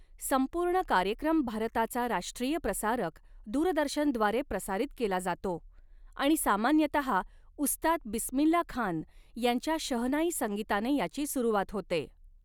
संपूर्ण कार्यक्रम भारताचा राष्ट्रीय प्रसारक दूरदर्शनद्वारे प्रसारित केला जातो आणि सामान्यतः उस्ताद बिस्मिल्ला खान यांच्या शहनाई संगीताने याची सुरुवात होते.